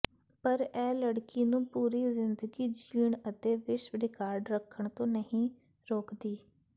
ਪਰ ਇਹ ਲੜਕੀ ਨੂੰ ਪੂਰੀ ਜ਼ਿੰਦਗੀ ਜੀਣ ਅਤੇ ਵਿਸ਼ਵ ਰਿਕਾਰਡ ਰੱਖਣ ਤੋਂ ਨਹੀਂ ਰੋਕਦੀ